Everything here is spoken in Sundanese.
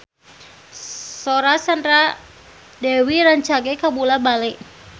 Sora Sandra Dewi rancage kabula-bale